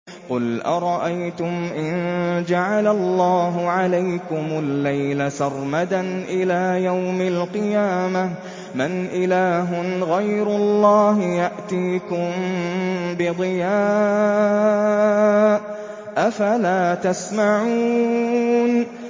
قُلْ أَرَأَيْتُمْ إِن جَعَلَ اللَّهُ عَلَيْكُمُ اللَّيْلَ سَرْمَدًا إِلَىٰ يَوْمِ الْقِيَامَةِ مَنْ إِلَٰهٌ غَيْرُ اللَّهِ يَأْتِيكُم بِضِيَاءٍ ۖ أَفَلَا تَسْمَعُونَ